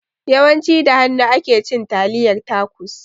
Yawan ci da hanu ake cin taliyar tacos